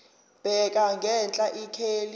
bheka ngenhla ikheli